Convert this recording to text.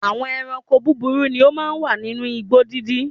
Àwọn ẹranko búburú ni ó máa ń wà nínú igbó dídí.